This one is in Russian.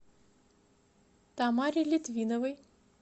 тамаре литвиновой